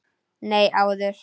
Nei, áður.